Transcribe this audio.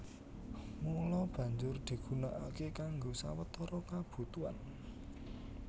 Mula banjur digunakaké kanggo sawetara kabutuhan